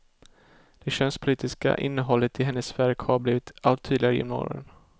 Det könspolitiska innehållet i hennes verk har blivit allt tydligare genom åren.